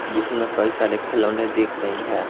जिसमें कई सारे खिलौने दिख रही है।